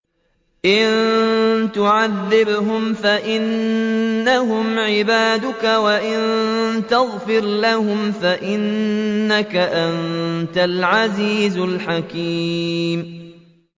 إِن تُعَذِّبْهُمْ فَإِنَّهُمْ عِبَادُكَ ۖ وَإِن تَغْفِرْ لَهُمْ فَإِنَّكَ أَنتَ الْعَزِيزُ الْحَكِيمُ